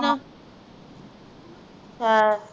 ਹਾਂ